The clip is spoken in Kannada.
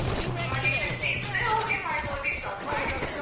ಮನೇಲ್ ಅಷ್ಟು ಇದ್ರೆ ಹೋಗಿ ಮಾಡಬೊದಿತ್ತು ಅಪ್ಪ ಮಾಡಿಟ್ಟದ್ದು